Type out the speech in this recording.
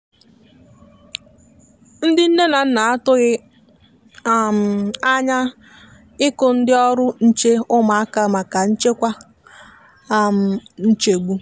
ndi nne na nna a tụghi um anya iku ndi ọrụ nche ụmụaka maka nchekwa um nchegbu.